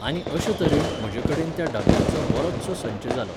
आनी अशेतरेन म्हजे कडेन त्या डब्यांचो बरोचसो संच जालो